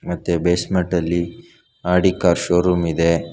ಮತ್ತೆ ಬೇಸ್ಮೆಂಟ್ ಅಲ್ಲಿ Audi car showroom ಇದೆ.